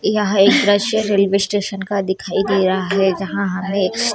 यह एक दृश्य रेलवे स्टेशन का दिखाई दे रहा है जहाँ हमें--